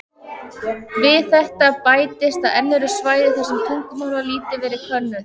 Við þetta bætist að enn eru svæði þar sem tungumál hafa lítið verið könnuð.